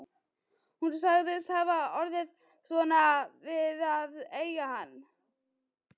Hún sagðist hafa orðið svona við að eiga hann